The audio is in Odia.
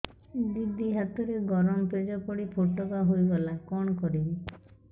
ଦିଦି ହାତରେ ଗରମ ପେଜ ପଡି ଫୋଟକା ହୋଇଗଲା କଣ କରିବି